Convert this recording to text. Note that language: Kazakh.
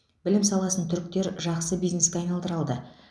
білім саласын түріктер жақсы бизнеске айналдыра алды